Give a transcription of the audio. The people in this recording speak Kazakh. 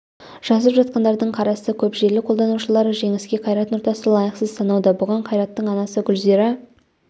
жазып жатқандардың қарасы көп желі қолданушылары жеңіске қайрат нұртасты лайықсыз санауда бұған қайраттың анасы гүлзира